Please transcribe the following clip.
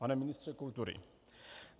Pane ministře kultury.